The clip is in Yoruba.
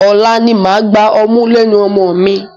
Ọ̀la ni màá gba ọmú lẹ́nu ọmọ mi.